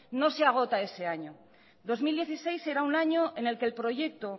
no se agota ese año dos mil dieciséis será un año en el que el proyecto